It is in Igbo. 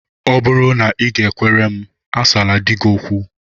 Ọ bụrụ na ị g-ekwere m, asala di gị okwu!